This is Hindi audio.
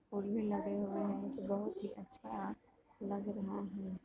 लगे हुए हैं बहुत ही अच्छा लग रहा है।